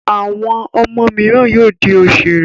Àwọn ọmọ mìíràn yóò di òṣèré.